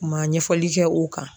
U ma ɲɛfɔli kɛ o kan.